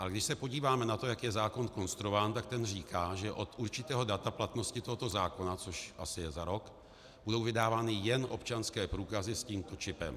Ale když se podíváme na to, jak je zákon konstruován, tak ten říká, že od určitého data platnosti tohoto zákona, což je asi za rok, budou vydávány jen občanské průkazy s tímto čipem.